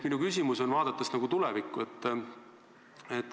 Minu küsimus on vaatega tulevikku.